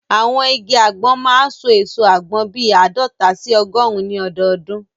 Àwọn igi àgbọn máa n so èso àgbọn bíi àádọta sí ọgọrùn ní ọdọdún